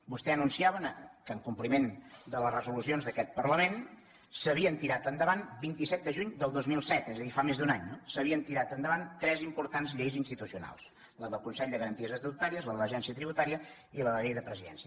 vostè anunciava que en compliment de les resolucions d’aquest parlament s’havien tirat endavant vint set de juny del dos mil set és a dir fa més d’un any no tres importants lleis institucionals la del consell de garanties estatutàries la de l’agència tributària i la llei de presidència